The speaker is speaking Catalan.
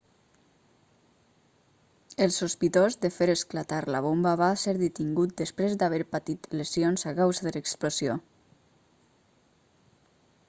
el sospitós de fer esclatar la bomba va ser detingut després d'haver patit lesions a causa de l'explosió